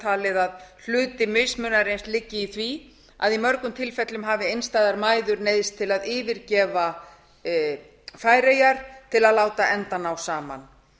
talið að hluti mismunarins liggi í því að í mörgum tilfellum hafi einstæðar mæður neyðst til að yfirgefa færeyjar til að láta enda ná saman